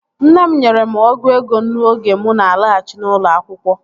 Nne m nyere m ọgụ ego nnu oge mụ na alaghachi n'ụlọ akwụkwọ